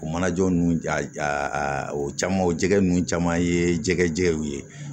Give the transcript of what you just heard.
O mana jɔ nunnu ja o caman o jɛgɛ ninnu caman ye jɛgɛjaw ye